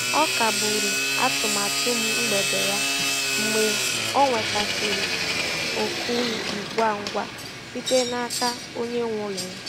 Ọ kagburu atụmatụ mgbede ya mgbe ọ nwetasịrị oku ngwa ngwa site n'aka onye nwe ụlọ ya.